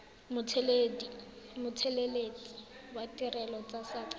mothelesi wa ditirelo tsa saqa